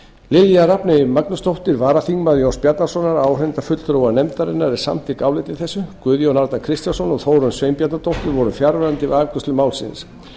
lilja rafney magnúsdóttir varaþingmaður jóns bjarnasonar áheyrnarfulltrúa nefndarinnar er samþykk áliti þessu guðjón a kristjánsson og þórunn sveinbjarnardóttir voru fjarverandi við afgreiðslu málsins